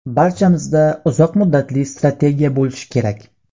Barchamizda uzoq muddatli strategiya bo‘lishi kerak”.